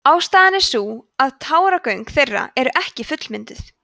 ástæðan er sú að táragöng þeirra eru ekki fullmynduð